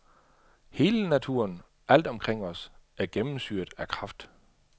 Hele naturen, alt omkring os, er gennemsyret af kraft.